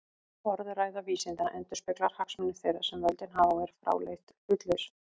Orðræða vísindanna endurspeglar hagsmuni þeirra sem völdin hafa og er fráleitt hlutlaus.